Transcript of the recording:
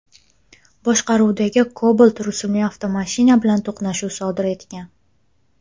boshqaruvidagi Cobalt rusumli avtomashina bilan to‘qnashuv sodir etgan.